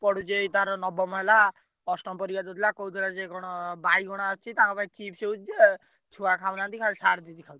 ପଢୁଛି ଏଇ ତାର ନବମ ହେଲା ଅଷ୍ଟମ ପରୀକ୍ଷା ଦେଇଥିଲା କହୁଥିଲା ଯେ କଣ ବାଇଗଣ ଆସୁଚି ତାଙ୍କ ପାଇଁ chips ହଉଛି ଛୁଆ ଖାଉନାହାନ୍ତି ଖାଲି sir ଦିଦି ଖାଉଛନ୍ତି।